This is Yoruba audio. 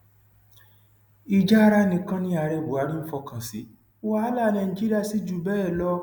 ìjà ara nìkan ni ààrẹ buhari ń fọkàn sí wàhálà nàìjíríà sí jù bẹẹ lọ